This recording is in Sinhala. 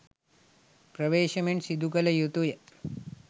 ප්‍රවේශමෙන් සිදුකල යුතුය.